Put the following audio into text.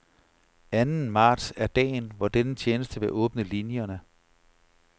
Anden marts er dagen, hvor denne tjeneste vil åbne linierne.